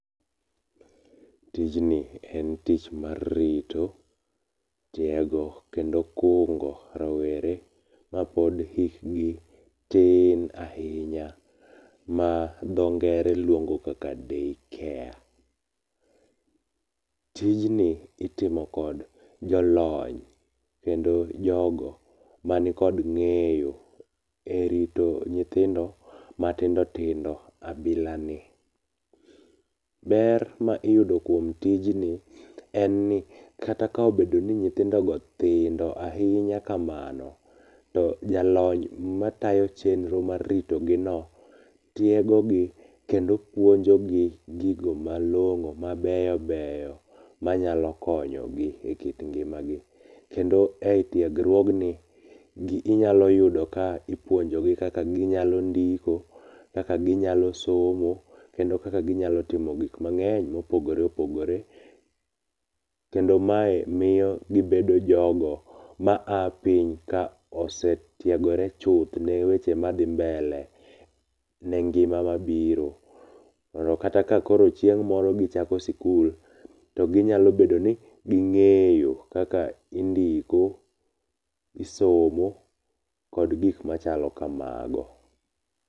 Tijni en tich mar rito, tiego, kendo kungo rawere mapod hikgi tin ahinya ma dho ngere luongo kaka Day Care. Tijni itimo kod jolony kendo jogo manikod ng'eyo erito nyithindo matindo tindo kabila ni. Ber ma iyudo kuom tijni en ni kata ka obedo ni nyithindogo tindo ahinya kamano, to jaliny matayo chenro mar ritogino, tiegogi kendo puonjogi gigo malong'o mabeyo beyo manyalo konyogi ekit ngimagi. Kendo etiegruogni yudo ka ipuonjogi kaka ginyalo ndiko, kaka ginyalo somo kendo kaka ginyalo timogik mang'eny mopogore oogore kendo mae miyo gibedo jogo ma a piny ka osetiegore chuth ne weche madhi mbele ne ngima mabiro. Mondo koro kata ka chieng' moro gichako sikul to ginyalo bedo ni ging'eyo kaka indiko, isomo kod gik machalo kamago.